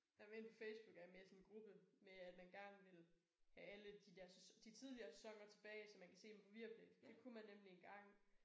Jamen inde på Facebook er jeg med i sådan en gruppe med at man gerne vil have alle de der sæsoner de tidligere sæsoner tilbage så man kan se dem på Viaplay det kunne man nemlig engang